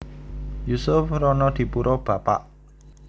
Yusuf Ronodipuro Bapak